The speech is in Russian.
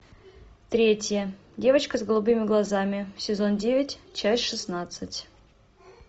третья девочка с голубыми глазами сезон девять часть шестнадцать